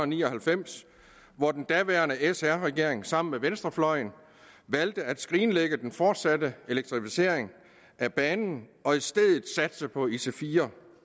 ni og halvfems hvor den daværende sr regering sammen med venstrefløjen valgte at skrinlægge den fortsatte elektrificering af banen og i stedet satse på ic4